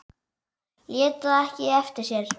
Lét það ekki eftir sér.